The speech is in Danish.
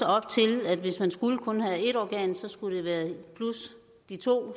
op til at hvis man kun skulle have ét organ skulle det være plus de to